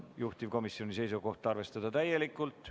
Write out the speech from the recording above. Juhtivkomisjoni seisukoht on arvestada seda täielikult.